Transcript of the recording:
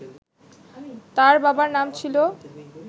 তার বাবার নাম ছিল